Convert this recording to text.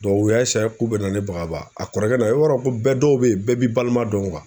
u y'a k'u be na ne bagabaga, a kɔrɔkɛ na i b'a dɔ ko bɛɛ dɔw be ye bɛɛ b'i balima dɔn